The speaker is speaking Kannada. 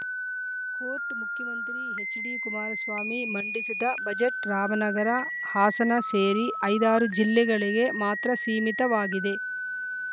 ಕೋಟ್‌ ಮುಖ್ಯಮಂತ್ರಿ ಎಚ್‌ಡಿ ಕುಮಾರಸ್ವಾಮಿ ಮಂಡಿಸಿದ ಬಜೆಟ್‌ ರಾಮನಗರ ಹಾಸನ ಸೇರಿ ಐದಾರು ಜಿಲ್ಲೆಗಳಿಗೆ ಮಾತ್ರ ಸೀಮಿತವಾಗಿದೆ